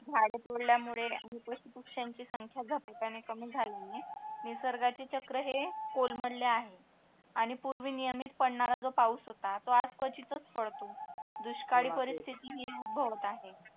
झाड तोडल्यामुळे आणि पशु पक्षांची संख्या झपाट्याने कमी झाल्याने निसर्गाचे चक्र हे कोलमोडलें आहे आणि पूर्वी निमित पडणारा जो पाऊस होता तो आज क्वचितच पडतो दुष्काळी परिस्थिती ही उद्भवत आहे